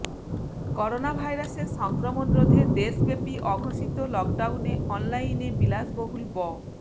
করোনাভাইরাসের সংক্রমণ রোধে দেশব্যাপী অঘোষিত লকডাউনে অনলাইনে বিলাসবহুল ব